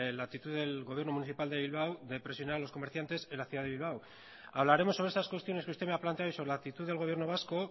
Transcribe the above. la actitud del gobierno municipal de bilbao de presionar a los comerciantes en la ciudad de bilbao hablaremos sobre esas cuestiones que usted me ha planteado y sobre la actitud del gobierno vasco